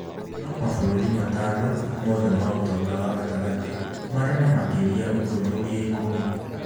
No mabũrũri matano (mothe ma ũtonga wa gatagatĩ) marĩ na makĩria ũthuthuria ĩkũmi.